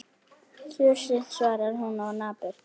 Þusið, svarar hún napurt.